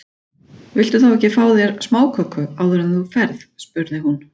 Viltu þá ekki fá þér smáköku áður en þú ferð spurði hún.